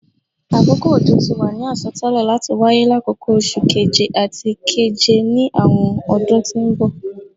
Akoko ojo ti wa ni asọtẹlẹ lati waye lakoko Oṣu Keje ati Keje ni awọn ọdun ti n bọ